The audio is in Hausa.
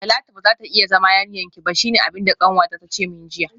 Talatu bazata iya zama yarinyarki ba shine abinda kanwata tace min jiya